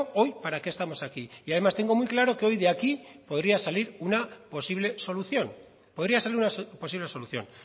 hoy para qué estamos aquí además tengo muy claro que hoy de aquí podría salir una posible solución